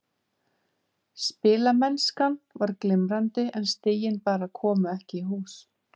Spilamennskan var glimrandi en stigin bara komu ekki í hús.